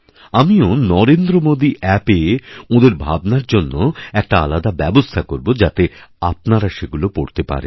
আমিও নরেন্দ্রমোদী অ্যাপএ ওঁদের ভাবনার জন্য একটা আলাদাব্যবস্থা করব যাতে আপনারা সেগুলো পড়তে পারেন